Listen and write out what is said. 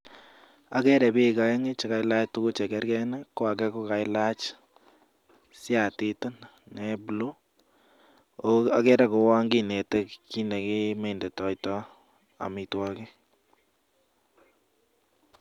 Akere biik oeng' chekalach tuguk chekergen ,age kokailach siatit nebuluu ako akere kouwon kinete kiit nekipimondoito amitwogik .